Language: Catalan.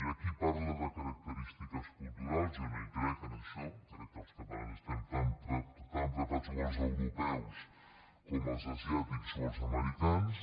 hi ha qui parla de característiques culturals jo no hi crec en això crec que els catalans estem tan preparats com els europeus com els asiàtics o els americans